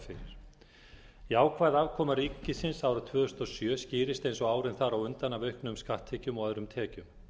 fyrir jákvæð afkoma ríkisins árið tvö þúsund og sjö skýrist eins og árin þar á undan af auknum skatttekjum og öðrum tekjum